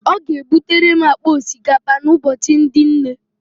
Ọ ga-ebutere m akpa osikapa n'Ụbọchị ndị Nne